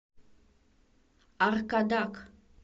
аркадак